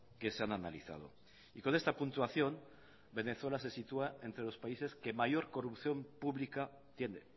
que se han analizado y con esta puntuación venezuela se sitúa entre los países que mayor corrupción pública tiene